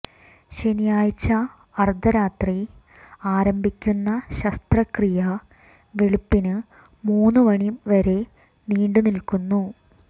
ശനിയാഴ്ച അര്ദ്ധരാത്രി ആരംഭിക്കുന്ന ശസ്ത്രക്രിയ വെളുപ്പിന് മൂന്ന് മണി വരെ നീണ്ടുനില്ക്കുന്നു